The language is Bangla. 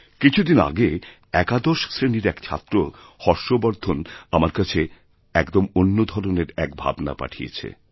কিছু দিন আগে একাদশ শ্রেণীর এক ছাত্র হর্ষবর্ধন আমার কাছে একদম অন্য ধরনের একভাবনা পাঠিয়েছে